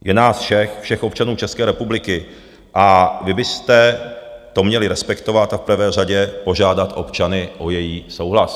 Je nás všech, všech občanů České republiky, a vy byste to měli respektovat a v prvé řadě požádat občany o jejich souhlas.